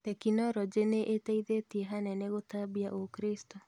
Tekinoronjĩ nĩĩteithĩtie hanene gũtambia ũkristo.